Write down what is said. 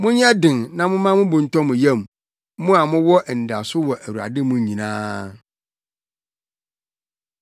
Monyɛ den na momma mo bo ntɔ mo yam, mo a mowɔ anidaso wɔ Awurade mu nyinaa.